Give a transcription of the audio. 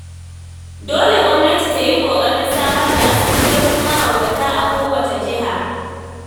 Dole gwamnati ta yi ƙoƙarin samar da asibitocin mahaukata a kowace jiha.